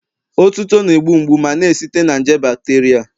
Otuto na-egbu mgbu ma na-esite na nje bacteria